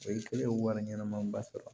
O ye kelen ye wari ɲɛnɛma ba sɔrɔ